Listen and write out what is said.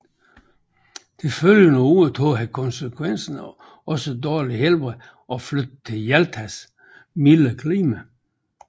Det følgende år tog han konsekvensen af sit dårlige helbred og flyttede til Jaltas mildere klima